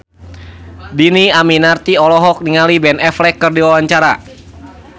Dhini Aminarti olohok ningali Ben Affleck keur diwawancara